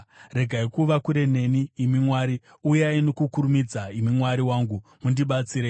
Regai kuva kure neni, imi Mwari; uyai nokukurumidza, imi Mwari wangu, mundibatsire.